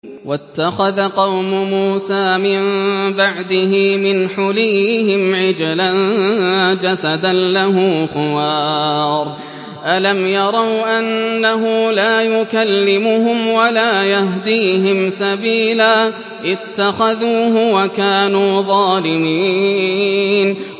وَاتَّخَذَ قَوْمُ مُوسَىٰ مِن بَعْدِهِ مِنْ حُلِيِّهِمْ عِجْلًا جَسَدًا لَّهُ خُوَارٌ ۚ أَلَمْ يَرَوْا أَنَّهُ لَا يُكَلِّمُهُمْ وَلَا يَهْدِيهِمْ سَبِيلًا ۘ اتَّخَذُوهُ وَكَانُوا ظَالِمِينَ